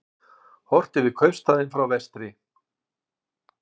Horft yfir kaupstaðinn frá vestri.